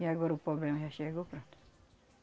E agora o problema já chegou, pronto.